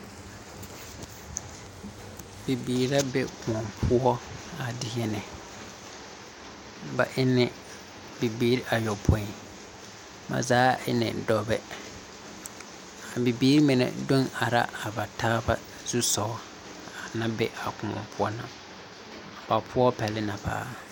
Bibiiri la be koɔ poɔ a deɛnɛ, ba e ni bibiiri ayoɔpoi, ba zaa eni dɔbɛ, a bibiiri mine do are la ba taa zusugŋɔ a naŋ be a koɔ poɔ ba poɔ pɛli na paa.